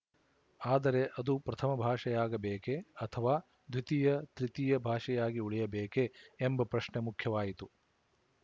ಆದರೆ ಅದು ಪ್ರಥಮ ಭಾಷೆಯಾಗಬೇಕೇ ಅಥವಾ ದ್ವಿತೀಯ ತೃತೀಯ ಭಾಷೆಯಾಗಿ ಉಳಿಯಬೇಕೇ ಎಂಬ ಪ್ರಶ್ನೆ ಮುಖ್ಯವಾಯಿತು